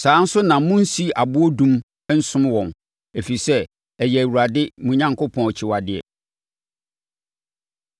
Saa ara nso na monnsi aboɔ adum nsom wɔn, ɛfiri sɛ, ɛyɛ Awurade mo Onyankopɔn akyiwadeɛ.